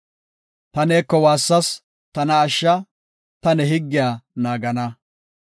Ta neeko waassas; tana ashsha; ta ne higgiya naagana.